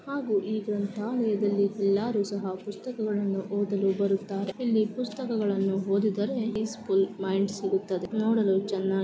ಹಾಗು ಈ ಗ್ರಂಥಾಲಯದಲ್ಲಿ ಎಲ್ಲರು ಸಹ ಪುಸ್ತಕಗಳನ್ನು ಓದಲು ಬರುತ್ತಾರೆ ಇಲ್ಲಿ ಪುಸ್ತಕಗಳನ್ನು ಓದಿದರೆ ಪೀಸ್ಪುಲ್ ಮೈಂಡ್ ಸಿಗುತ್ತದೆ ನೋಡಲು ಚನ್ನ --